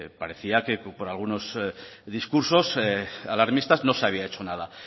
parecía por algunos discursos alarmistas no se había hecho nada